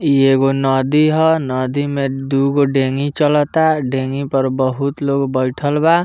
ई एगो नदी ह नदी में दूगो डेंगी चलतअ डेंगी पर बहुत लोग बेइठल बा।